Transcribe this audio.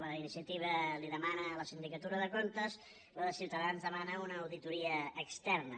la d’iniciativa la demana a la sindicatura de comptes la de ciutadans demana una auditoria externa